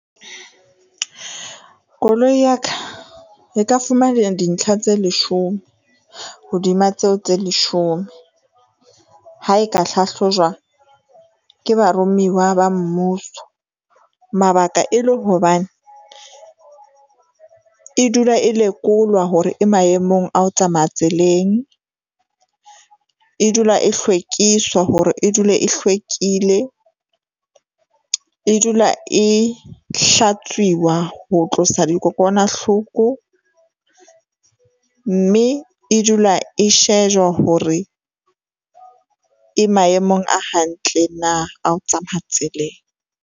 Koloi ya ka e ka dintlha tse leshome hodima tseo tse leshome ha e ka hlahlojwa ke barumiwa ba mmuso. Mabaka e le hobane e dula e lekolwa hore e maemong a ho tsamaya tseleng e dula e hlwekiswa hore e dule e hlwekile, e dula e hlatswiwa ho tlosa di kokwanahloko. Mme e dula e shejwa hore e maemong a hantle na a o tsamaya tseleng.